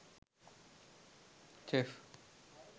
chef